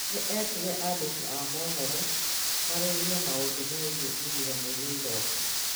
nĩ eetire andĩki a mohoro marĩrĩrie maũndũ megiĩ ithurano iria iroka.